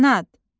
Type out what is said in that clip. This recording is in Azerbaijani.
Qanat.